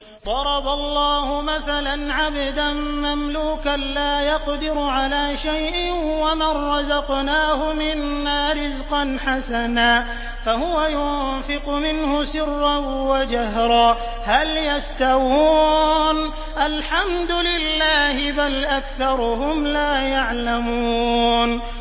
۞ ضَرَبَ اللَّهُ مَثَلًا عَبْدًا مَّمْلُوكًا لَّا يَقْدِرُ عَلَىٰ شَيْءٍ وَمَن رَّزَقْنَاهُ مِنَّا رِزْقًا حَسَنًا فَهُوَ يُنفِقُ مِنْهُ سِرًّا وَجَهْرًا ۖ هَلْ يَسْتَوُونَ ۚ الْحَمْدُ لِلَّهِ ۚ بَلْ أَكْثَرُهُمْ لَا يَعْلَمُونَ